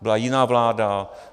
Byla jiná vláda.